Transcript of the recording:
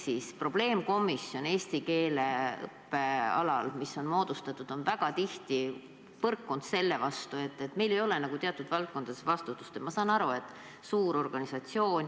Moodustatud probleemkomisjon eesti keele õppe alal on väga tihti põrkunud sellele, et meil ei ole nagu teatud valdkondades vastutust.